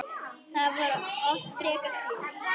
Þá var oft feikna fjör.